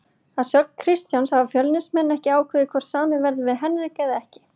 Að sögn Kristjáns hafa Fjölnismenn ekki ákveðið hvort samið verði við Henrik eða ekki.